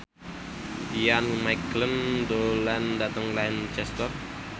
Ian McKellen lunga dhateng Lancaster